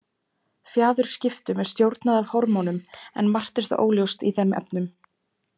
Fjaðurskiptum er stjórnað af hormónum, en margt er þó óljóst í þeim efnum.